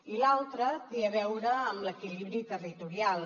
i l’altre té a veure amb l’equilibri territorial